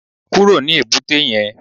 Kúrò ní èbúté yẹn